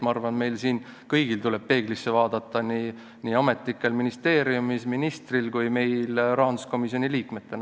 Ma arvan, meil kõigil tuleb peeglisse vaadata, nii ametnikel ministeeriumis, ministril kui ka meil rahanduskomisjoni liikmetena.